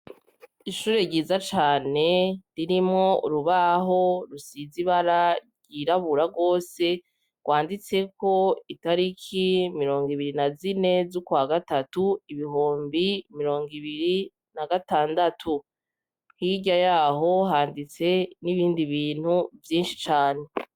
Ishure ryiza cane ririmwo urubaho rusize ibara ryirabura rwose rwanditseko italiki mirongo ibiri na zine z'ukwa gatatu ibihumbi mirongo ibiri na gatandatu. Hirya y'aho handitse n'ibindi bintu vyinshi cane.